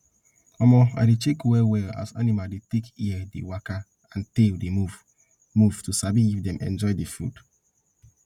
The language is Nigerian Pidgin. um i dey check well well as animal dey take ear dey waka and tail dey move move to sabi if dem enjoy d food